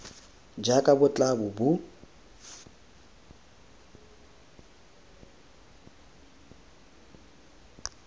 jaaka bo tla bo bo